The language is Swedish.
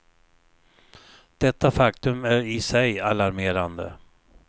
Detta faktum är i sig alarmerande.